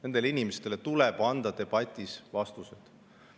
Nendele inimestele tuleb anda debatis vastused.